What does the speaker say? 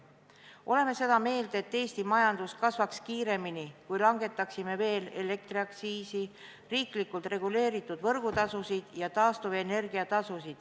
Oleme seda meelt, et Eesti majandus kasvaks kiiremini, kui langetaksime ka elektriaktsiisi, riiklikult reguleeritud võrgutasusid ja taastuvenergia tasusid.